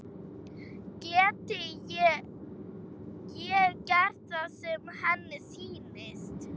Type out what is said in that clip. Geti gert það sem henni sýnist.